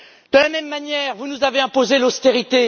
De la même manière, vous nous avez imposé l'austérité.